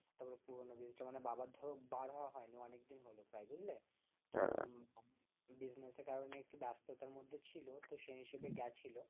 তারপর পুরনো ব্রিজ টা মানে বাবার ধরো বার হওয়া হয়নি অনেকদিন হলো প্রায় বুঝলে business এর কারণে একটু ব্যস্ততার মধ্যে ছিল তো সেই হিসাবে গেছিল